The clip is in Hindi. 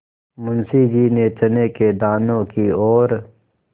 मुंशी जी ने चने के दानों की ओर